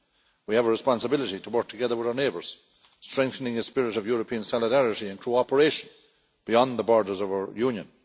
We have a responsibility to work together with our neighbours, strengthening a spirit of European solidarity and cooperation beyond the borders of our Union.